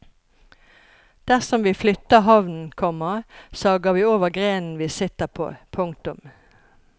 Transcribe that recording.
Dersom vi flytter havnen, komma sager vi over grenen vi sitter på. punktum